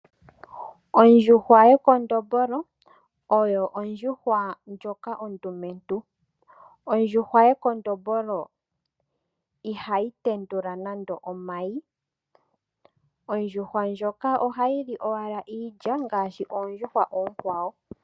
Ondjuhwa yekondombolo oyo ondjuhwa ndjoka ondumentu. Ondjuhwa yekondombolo ihayi tendula nando omayi. Ondjuhwa ndjoka ohayi li owala iilya ngaashi oondjuhwa oonkwawo.